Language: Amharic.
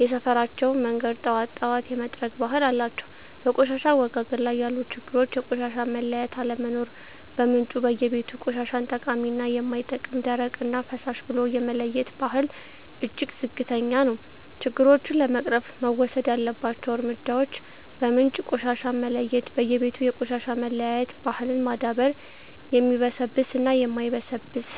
የሰፈራቸውን መንገድ ጠዋት ጠዋት የመጥረግ ባህል አላቸው። -በቆሻሻ አወጋገድ ላይ ያሉ ችግሮች -የቆሻሻ መለያየት አለመኖር በምንጩ (በየቤቱ) ቆሻሻን ጠቃሚ እና የማይጠቅም፣ ደረቅ እና ፍሳሽ ብሎ የመለየት ባህል እጅግ ዝቅተኛ ነው። -ችግሮቹን ለመቅረፍ መወሰድ ያለባቸው እርምጃዎች -በምንጭ ቆሻሻን መለየት በየቤቱ የቆሻሻ መለያየት ባህልን ማዳበር (የሚበሰብስ እና የማይበሰብስ)።